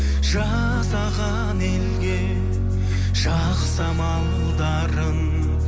жасаған елге жақсы амалдарың